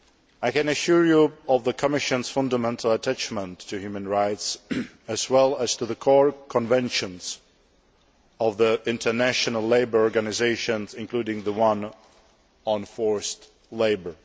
I can assure you of the Commission's fundamental attachment to human rights, as well as to the core Conventions of the International Labour Organisation, including the one on forced labour.